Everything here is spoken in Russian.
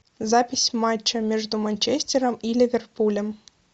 запись матча между манчестером и ливерпулем